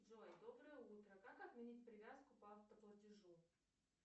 джой доброе утро как отменить привязку по автоплатежу